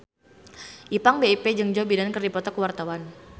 Ipank BIP jeung Joe Biden keur dipoto ku wartawan